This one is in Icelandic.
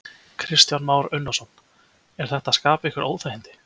Kristján Már Unnarsson: Er þetta að skapa ykkur óþægindi?